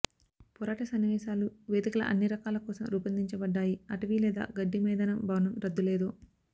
పోరాట సన్నివేశాలు వేదికల అన్ని రకాల కోసం రూపొందించబడ్డాయి అటవీ లేదా గడ్డి మైదానం భవనం రద్దు లేదో